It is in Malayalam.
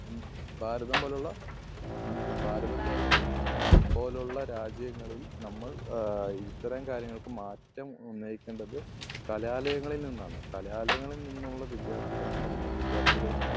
ഈ ഭാരതം പോലുള്ള ഭാരതം പോലുള്ള പോലുള്ള രാജ്യങ്ങളിൽ എ ഇത്തരം കാര്യങ്ങൾക്ക് മാറ്റം ഉന്നയിക്കേണ്ടത് കലാലയങ്ങളിൽ നിന്നാണ് കലാലയങ്ങളിൽ നിന്നുള്ള വിദ്യാർത്ഥി പ്രേശ്നങ്ങളിൽ വിദ്യാർത്ഥികൾക്ക്